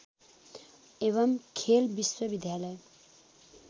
एवम् खेल विश्वविद्यालय